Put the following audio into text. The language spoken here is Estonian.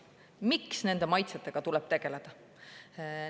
Miks nende maitsetega tuleb tegeleda?